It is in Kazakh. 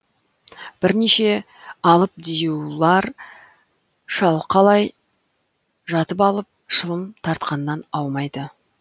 бірнеше алып диюлар шалқалай жатып алып шылым тартқаннан аумайды